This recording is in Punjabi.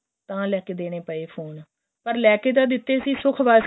ਤਾਂ ਲੈਕੇ ਦੇਣੇ ਪਏ ਫੋਨ ਪਰ ਲੈਕੇ ਤਾਂ ਦਿੱਤੇ ਸੀ ਸੁੱਖ਼ ਵਾਸਤੇ